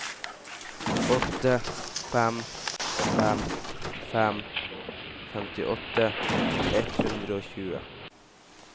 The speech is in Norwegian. åtte fem fem fem femtiåtte ett hundre og tjue